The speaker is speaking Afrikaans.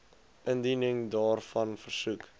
indiening daarvan versoek